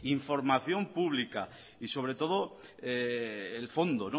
información pública y sobre todo el fondo